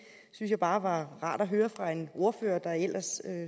jeg bare var rart at høre fra en ordfører der ellers